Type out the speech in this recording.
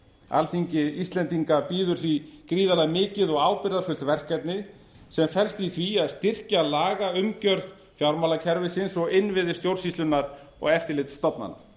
alþingi íslendinga bíður því gríðarlega mikið og ábyrgðarfullt verkefni sem felst í því að styrkja lagaumgjörð fjármálakerfisins og innviði stjórnsýslunnar og eftirlitsstofnana